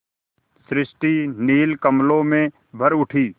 सृष्टि नील कमलों में भर उठी